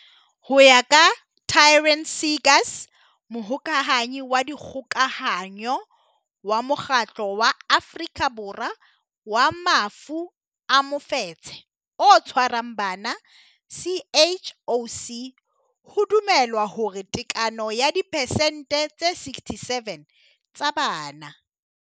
Ho ya ka Taryn Seegers, Mohokahanyi wa Dikgokahanyo wa Mokgatlo wa Afrika Borwa wa Mafu a Mofetshe o Tshwarang Bana, CHOC, ho dumelwa hore tekano ya diphesente tse 67 tsa bana.